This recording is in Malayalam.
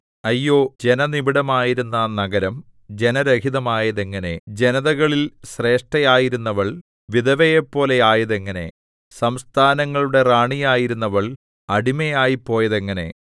അയ്യോ ജനനിബിഡമായിരുന്ന നഗരം ജനരഹിതമായതെങ്ങനെ ജനതകളിൽ ശ്രേഷ്ഠയായിരുന്നവൾ വിധവയെപ്പോലെ ആയതെങ്ങനെ സംസ്ഥാനങ്ങളുടെ റാണിയായിരുന്നവൾ അടിമയായിപ്പോയതെങ്ങനെ